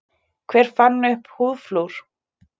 Hver fann upp húðflúr?